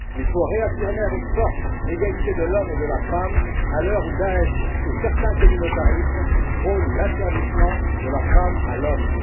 Il faut réaffirmer avec force l'égalité de l'homme et de la femme à l'heure où Daesh et certains communautarismes prônent l'asservissement de la femme à l'homme.